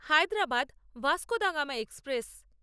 Hyderabad Vasco da Gama express